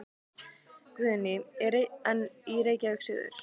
Guðný: En í Reykjavík suður?